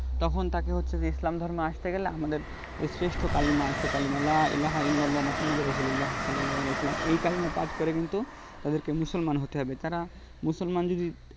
তখন তাকে হচ্ছে যে ইসলাম ধর্মে আস্তে গেলে আমাদের যে শেষ্ঠ কালিমা আছে কালিমা লা ইলা এলাহললো মোহাম্মদ রোসিরুল্লা সাল্লালী ইসলামী এই কালিমা পাঠ করে কিন্তু তাদেরকে মুসলমান হতে হবে তারা মুসলমান যদি